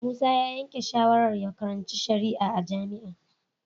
Musa ya yanke shawarar ya karanci shari'a a jami'a